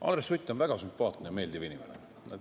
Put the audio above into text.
Andres Sutt on väga sümpaatne ja meeldiv inimene.